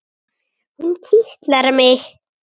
Hún kitlar mig!